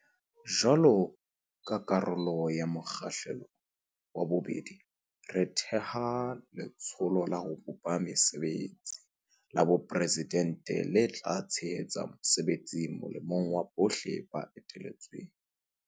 Jwaloka karolo ya mo kgahlelo wa bobedi, re theha Letsholo la ho bopa Mesebetsi la Boporesidente le tla tshe hetsa mosebetsi molemong wa bohle le eteletsweng.